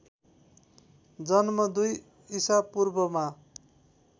जन्म २ ईसापूर्वमा